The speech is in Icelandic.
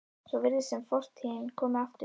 Svo virðist sem fortíðin komi aftur.